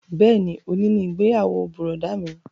Bẹ́ẹ̀ni, òní ni ìgbéyàwó bùrọ̀dá mi